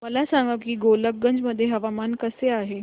मला सांगा की गोलकगंज मध्ये हवामान कसे आहे